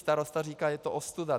Starosta říká, je to ostuda.